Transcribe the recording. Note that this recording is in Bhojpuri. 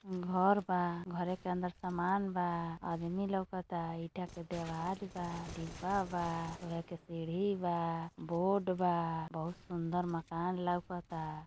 घर बा घर के अंदर सम्मान बा आदमी लउकता इटा के दीवार बा डिब्बा बा और एक सीडी बा बोर्ड बा बहुत सुंदर मकान लउकता।